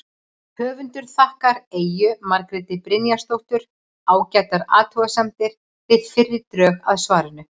Höfundur þakkar Eyju Margréti Brynjarsdóttur ágætar athugasemdir við fyrri drög að svarinu.